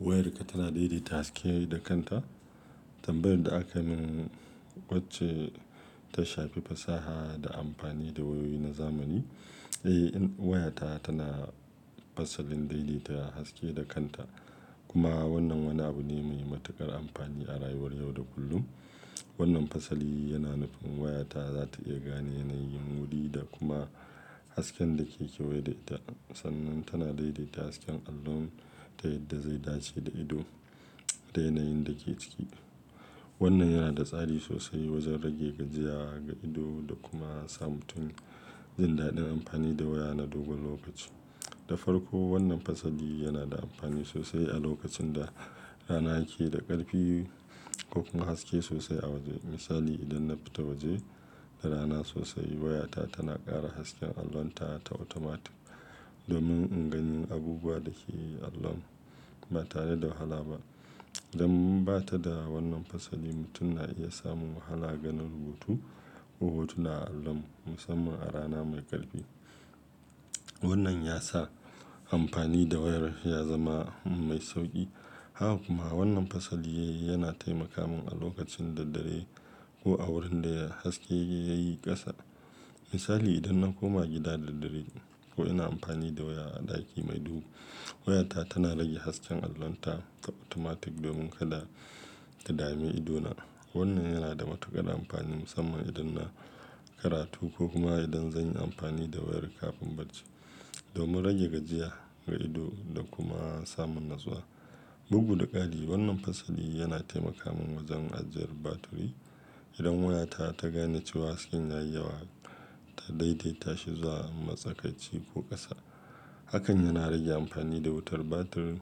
Wayarka tana daidaita haske da kanta. Tambayar da aka mun wacce ta shafi fasaha da amfani da wayoyi na zamani, eh wayata tana fasalin daidaita haske da kanta. Kuma wannan wani abu ne mai matuƙar amfani a rayuwar yau da kullum. Wannan fasali yana nufin wayata za ta iya gane yanayin wuri da kuma hasken da ke kewaye da ita. Sannan tana daidaita hasken allon ta yadda zai dace da ido, da yanayin da ke ciki. Wannan yana da tsari sosai wajen rage gajiya ga ido da kuma samun jin daɗin amfani da waya na dogon lokaci. Da farko wannan fasali yana da amfani sosai a lokacin da rana ke da ƙarfi ko kuma haske sosai a waje. Misali idan na fita waje da rana sosai, wayata tana ƙara hasken allonta ta automatic domin in gani abubuwa da ke allon ba tare da wahala ba. Dan in bata da wannan fasali, mutum na iya samun wahala ganin rubutu ko hotuna a allon musamman a rana mai ƙarfi. Wannan ya sa amfani da wayar ya zama mai sauƙi. Haka kuma wannan fasali yana taimaka mun a lokacin da dare ko a wurin da haske ya yi ƙasa. Misali idan na koma gida da dare ko ina amfani da waya a ɗaki mai duhu, wayata tana rage hasken allonta ta automatic domin kada ta dame idona. Wannan yana da matuƙar amfani musamman idan na karatu ko kuma idan zan yi amfani da wayar kafin barci, domin rage gajiya ga ido da kuma samun natsuwa. Bugu da ƙari wannan fasali yana taimaka mun wajen ajiyar batiri. Idan wayata ta gane cewa hasken yayi yawa ta daidaita shi zuwa matsakaici ko ƙasa. Hakan yana rage amfani da wutar batir.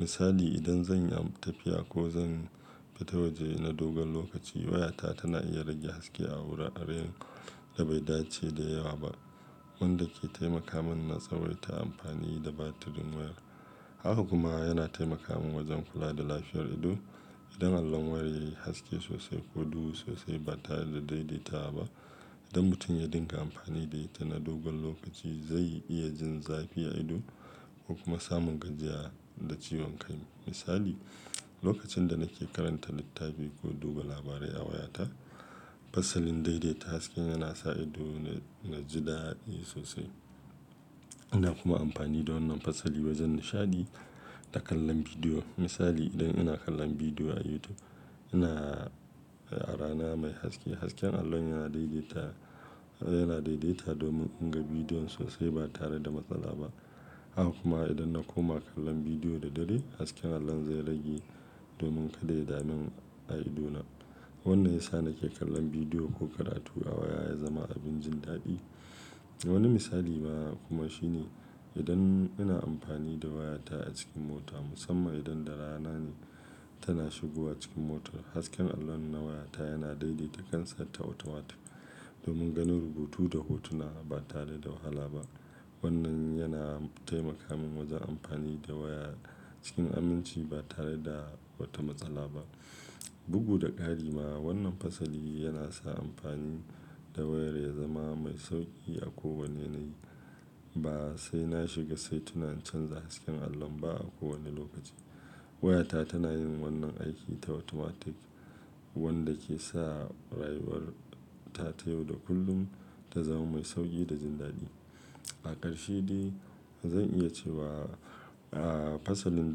Misali idan zan yi tafiya ko zan fita waje na dogon lokaci, wayata tana iya rage haske a wuraren da bai dace da yawa ba, wanda ke taimaka mun na tsawaita amfani da batirin wayar. Haka kuma yana taimaka mun wajen kula da lafiyar ido. Idan allon wayar yayi haske sosai ko duhu sosai ba tare da daidaita ba, idan mutum ya dinga amfani da ita na dogon lokaci zai iya jin zafi a ido ko kuma samun gajiya da ciwon kai. Misali lokacin da nake karanta littafi ko duba labarai a wayata, fasalin daidaita hasken yana sa ido na yaji daɗi sosai. Ina kuma amfani da wannan fasali wajen nishaɗi da kallon bidiyo. Misali idan ina kallon bidiyo a YouTube ina a rana mai haske, hasken allon yana daidaita, yana daidaita domin in ga bidiyon sosai ba tare da matsala ba. Haka kuma idan na koma kallon bidiyo da dare hasken allon zai rage domin kada ya dame ni a idona. Wannan ya sa nake kallon bidiyo ko karatu a waya ya zama abin jin daɗi. Wani misali na kuma shine idan ina amfani da wayata a cikin mota musamman idan da rana ne kana shigowa cikin motar, hasken allon na wayata yana daidaita kansa ta automatic domin ganin rubutu da hotuna ba tare da wahala ba. Wannan yana taimaka mun wajen amfani da waya cikin aminci ba tare da wata matsala ba. Bugu da ƙari ma wannan fasali yana sa amfani da wayan ya zama mai sauƙi a kowani yanayi ba sai na shiga saituna in canza hasken allon ba a kowane lokaci. Wayata tana yin wannan aiki ta automatic wanda ke sa rayuwarta ta yau da kullum ta zama mai sauƙi da jin daɗi. A ƙarshe dai zan iya cewa, ah fasalin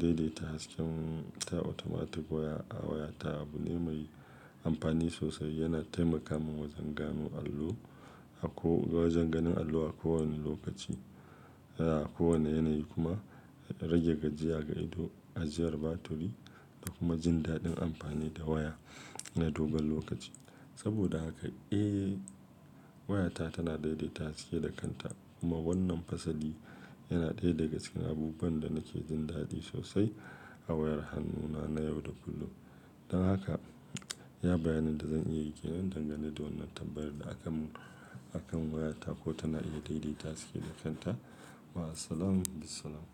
daidaita hasken ta automatic waya, a wayata abu ne mai amfani sosai. Yana taimaka mun wajen gano allo, a ko wajen ganin allo a kowane lokaci, a kowane yanayi kuma rage gajiya ga ido, ajiyar batiri da kuma jin daɗin amfani da waya na dogon lokaci. Saboda haka eh wayata tana daidaita haske da kanta kuma wannan fasali yana ɗaya daga cikin abubuwan da nake jin daɗi sosai a wayar hannuna na yau da kullum. Don haka iya bayanin da zan iya yi ke nan dangane da wannan tambayar da aka mun akan wayata ko tana iya daidaita haske da kanta. Ma assalam, Bissalam.